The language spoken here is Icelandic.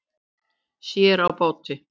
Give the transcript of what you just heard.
Sér á báti